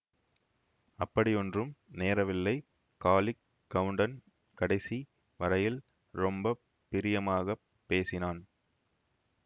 அப்படியொன்றும் நேரவில்லை காளிக் கவுண்டன் கடைசி வரையில் ரொம்ப பிரியமாகப் பேசினான்